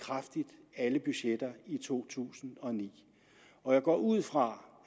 alle budgetter i to tusind og ni og jeg går ud fra